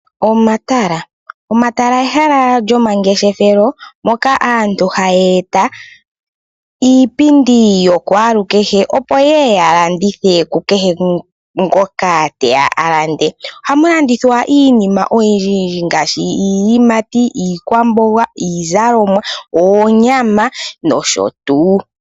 Omatala, omatala ehala lyomangeshefelo moka aantu haya eta iipindi yokwalukehe opo ya landithe ku kehe ngoka teya a lande. Oha mu landithwa iinima oyindji yindji ngaashi iiyimati, iikwamboga, iizalomwa, oonyama noshotuu.